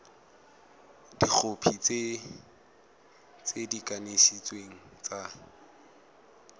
dikhopi tse di kanisitsweng tsa